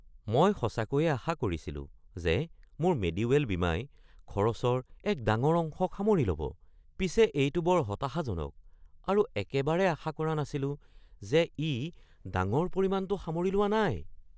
মই সঁচাকৈয়ে আশা কৰিছিলো যে মোৰ মেডিৱেল বীমাই খৰচৰ এক ডাঙৰ অংশক সামৰি ল'ব। পিছে এইটো বৰ হতাশাজনক আৰু একেবাৰে আশা কৰা নাছিলো যে ই ডাঙৰ পৰিমাণটো সামৰি লোৱা নাই।